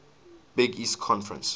big east conference